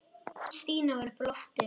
Stína var uppi á lofti.